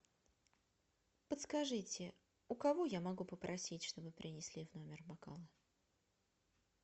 подскажите у кого я могу попросить чтобы принесли в номер бокалы